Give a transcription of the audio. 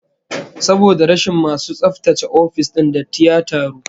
Saboda rashin masu tsaftace ofis din, datti ya taru